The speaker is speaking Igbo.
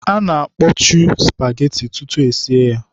A na-akpọchu spageti tutu esie ya.